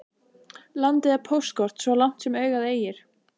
Landið er póstkort svo langt sem augað eygir.